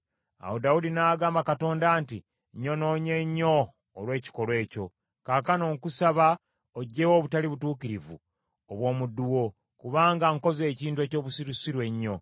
Awo Dawudi n’agamba Katonda nti, “Nnyonoonye nnyo olw’ekikolwa ekyo. Kaakano, nkusaba ogyewo obutali butuukirivu obw’omuddu wo, kubanga nkoze ekintu eky’obusirusiru ennyo.”